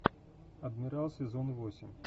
адмирал сезон восемь